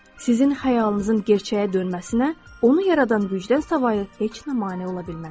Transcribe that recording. Sizin xəyalınızın gerçəyə dönməsinə, onu yaradan gücdən savayı heç nə mane ola bilməz.